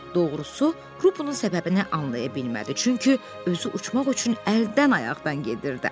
Doğrusu, Rupun səbəbini anlaya bilmədi, çünki özü uçmaq üçün əldən-ayaqdan gedirdi.